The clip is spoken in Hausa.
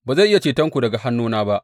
Ba zai iya cetonku daga hannuna ba.